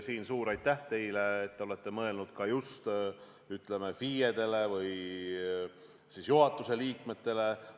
Suur aitäh teile, et te olete mõelnud ka FIE-dele või juhatuse liikmetele!